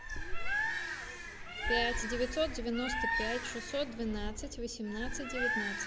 пять девятьсот девяносто пять шестьсот двенадцать восемнадцать девятнадцать